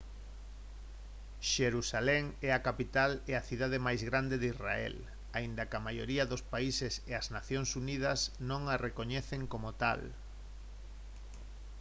xerusalén é a capital e a cidade máis grande de israel aínda que a maioría dos países e as nacións unidas non a recoñecen como tal